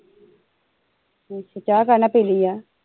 ਅੱਛਾ ਚਾਹ ਕਾਦੇ ਨਾ ਪੀਲੀ ਆ